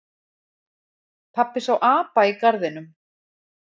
Pabbi sá apa í garðinum.